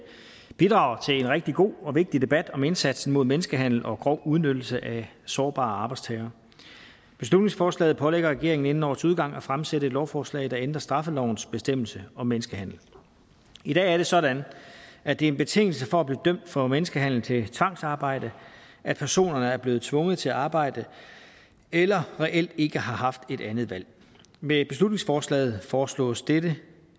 bidrager en rigtig god og vigtig debat om indsatsen mod menneskehandel og grov udnyttelse af sårbare arbejdstagere beslutningsforslaget pålægger regeringen inden årets udgang at fremsætte et lovforslag der ændrer straffelovens bestemmelse om menneskehandel i dag er det sådan at det er en betingelse for at blive dømt for menneskehandel til tvangsarbejde at personerne er blevet tvunget til at arbejde eller reelt ikke har haft et andet valg med beslutningsforslaget foreslås det